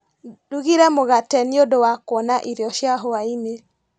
Ndugire mũgate nĩũndũ wa kuona irio cia hwainĩ.